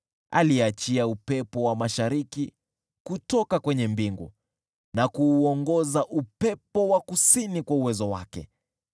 Aliachia upepo wa mashariki kutoka kwenye mbingu na kuuongoza upepo wa kusini kwa uwezo wake.